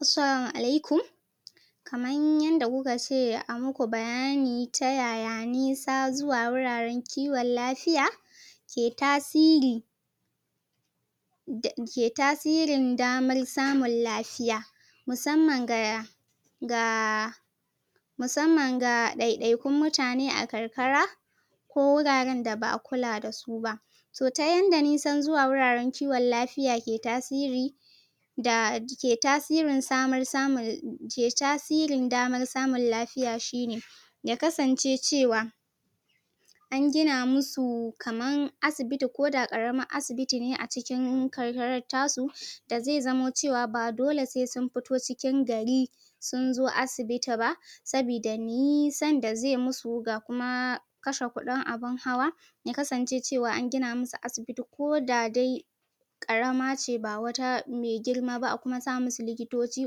Assalamu alaikum, kaman yanda kuka ce a muku bayani ta yaya nisa zuwa wuraren kiwon lafiya ke tasiri da ke tasiri damar samun lafiya musamman ga ya ga musamman ga ɗaiɗaikun mutane a karkara ko wuraren da ba'a kula da su ba so ta yanda nisan zuwa wuraren kiwon lafiya ke tasiri da ke tasirin damar samun lafiya shi ne ya kasance cewa an gina musu kaman asibiti ko da ƙaramar asibiti ne a cikin karkaran ta su da zai zamo cewa ba dole sai sun fito cikin gari sun zo asibiti ba sabida nisan da zai musu ga kuma kashe kuɗin abin hawa ya kasance cewa an gina musu asibiti ko da dai ƙarama ce ba wata me girma ba, a kuma sa musu likitoci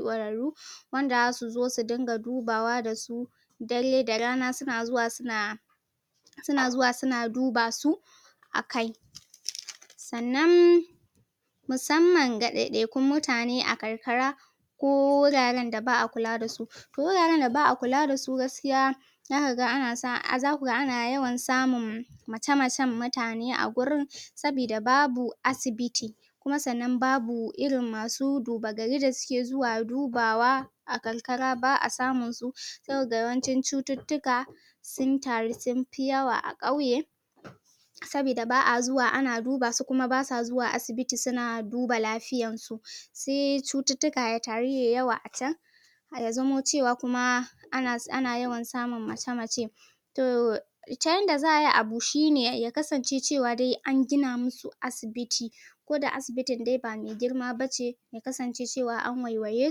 ƙwararru wanda zasu zo su dinga dubawa da su dare da rana suna zuwa suna suna zuwa suna duba su akai, sannan musamman ga ɗaiɗaikun mutane a karkara ko wuraren da ba'a kula da su guraren da ba'a kula da su gaskiya zaka ga, zaku ga ana yawan samun mace-macen mutane a gurin sabida babu asibiti kuma sannan babu irin masu duba garin da suke zuwa dubawa a karkara ba'a samun su saboda yawancin cututtuka su taru sun fi yawa a ƙauye sabida ba'a zuwa ana duba su kuma basa zuwa asibiti suna duba lafiyan su se cututtuka ya taru yayi yawa a can ya zamo cewa kuma ana yawan samun mace-mace to ta yanda za'a yi abu shi ne ya kasance cewa dai an gina musu asibiti ko da asibitin dai ba me girma bace, ya kasance cewa an waiwaye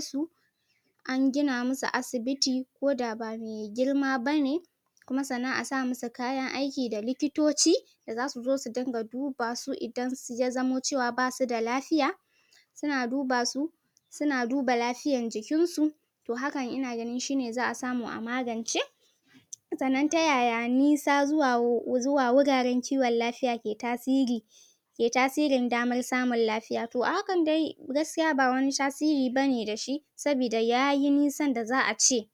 su an gina musu asibiti ko da ba me girma bane kuma sannan a sa musu kayan aiki da likitoci da zasu zo su dinga duba su idan ya zamo cewa basu da lafiya suna duba su suna duba lafiyan jikin su, to hakan ina gani shi ne za'a samu a magance sannan ta yaya nisa zuwa wuraren kiwon lafiya ke tasiri, ke tasirin damar samun lafiya, to a hakan dai gaskiya ba wani tasiri ba ne da shi, sabida ya yi nisan da za'a ce.